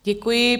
Děkuji.